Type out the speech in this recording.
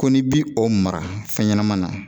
Ko n'i bi o mara fɛn ɲɛnama na